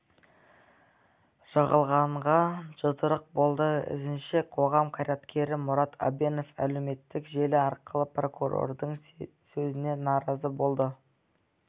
жығылғанға жұдырық болды ізінше қоғам қайраткері мұрат әбенов әлеуметтік желі арқылы прокурордың сөзіне наразы болды